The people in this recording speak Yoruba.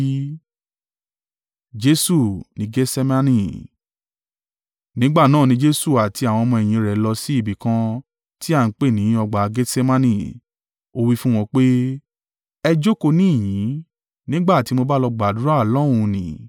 Nígbà náà ni Jesu àti àwọn ọmọ-ẹ̀yìn rẹ̀ lọ sí ibi kan ti à ń pè ní ọgbà Getsemane, ó wí fún wọn pé, “Ẹ jókòó níhìn-ín nígbà tí mo bá lọ gbàdúrà lọ́hùn ún ni.”